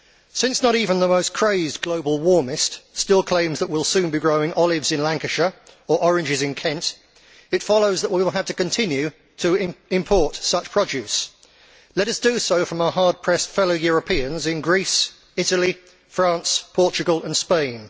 Since not even the most crazed global warmist still claims that we will soon be growing olives in Lancashire or oranges in Kent, it follows that we will have to continue to import such produce. Let us do so from our hard pressed fellow Europeans in Greece, Italy, France, Portugal and Spain.